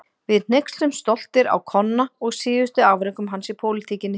Við hneykslumst stoltir á Konna og síðustu afrekum hans í pólitíkinni.